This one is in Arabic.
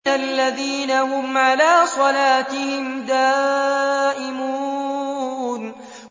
الَّذِينَ هُمْ عَلَىٰ صَلَاتِهِمْ دَائِمُونَ